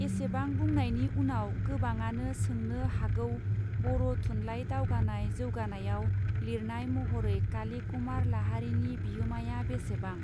एसेबां बुंनायनि उनाव गोबाङानो सोंनो हागौबर थुनलाइ दावगानाय जौगानायाव लिरनाय महरै काली कुमार लाहारीनि बिहोमाया बेसेबां.